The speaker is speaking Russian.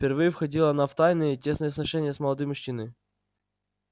впервые входила она в тайные тесные сношения с молодым мужчиною